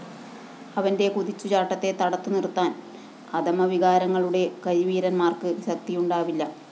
അവന്റെ കുതിച്ചുചാട്ടത്തെ തടുത്തുനിര്‍ത്താന്‍ അധമവികാരങ്ങളുടെ കരിവീരന്മാര്‍ക്ക് ശക്തിയുണ്ടാവില്ല